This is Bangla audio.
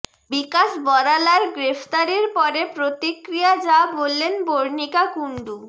বিকাশ বরালার গ্রেফতারির পরে প্রতিক্রিয়ায় যা বললেন বর্ণিকা কুণ্ডু